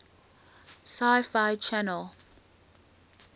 sci fi channel